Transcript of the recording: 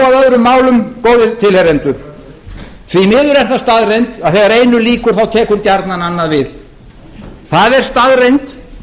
málum góðir tilheyrendur því miður er það staðreynd að þegar einu lýkur tekur gjarnan annað við það er staðreynd